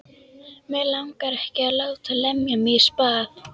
Mig langar ekki að láta lemja mig í spað.